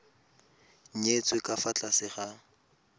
nyetswe ka fa tlase ga